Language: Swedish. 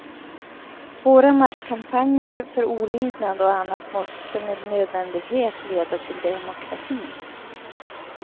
Våra masskampanjer för olydnad och annat måste med nödvändighet leda till demokrati.